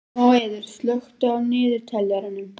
Móeiður, slökktu á niðurteljaranum.